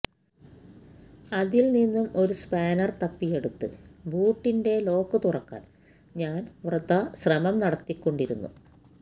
അതിൽ നിന്നും ഒരു സ്പാനർ തപ്പിയെടുത്ത് ബൂട്ടിന്റെ ലോക്ക് തുറക്കാൻ ഞാൻ വൃഥാശ്രമം നടത്തിക്കൊണ്ടിരുന്നു